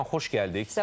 Nəriman xoş gəldik.